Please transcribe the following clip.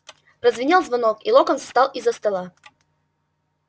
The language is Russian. прозвенел звонок и локонс встал из-за стола